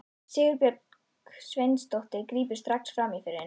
Sigurbjörg Sveinsdóttir grípur strax fram í fyrir henni.